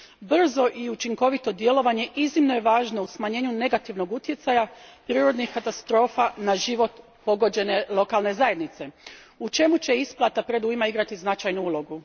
Brzo i učinkovito djelovanje iznimno je važno u smanjenju negativnog utjecaja prirodnih katastrofa na život pogođene lokalne zajednice, u čemu će isplata predujma igrati značajnu ulogu.